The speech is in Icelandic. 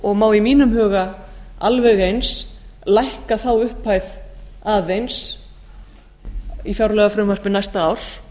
og má í mínum huga alveg eins lækka þá upphæð aðeins í fjárlagafrumvarpi næsta árs